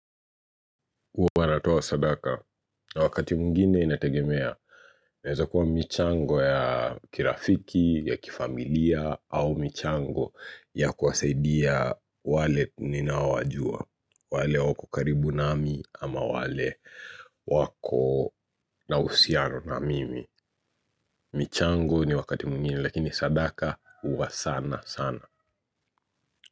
Huwa natoa sadaka na wakati mwingine inategemea inaeza kuwa michango ya kirafiki ya kifamilia au michango ya kuwasaidia wale ninaowajua. Wale wako karibu nami ama wale wako na uhusiano na mimi michango ni wakati mwingine lakini sadaka huwa sana sana.